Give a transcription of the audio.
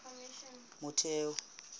motheo